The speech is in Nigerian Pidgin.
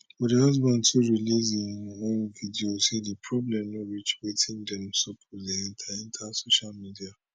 but di husband too release im own video say di problem no reach wetin dem suppose dey enta enta social media